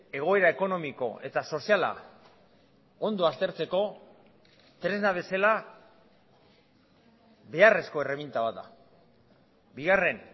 egoera ekonomiko eta soziala ondo aztertzeko tresna bezala beharrezko erreminta bat da bigarren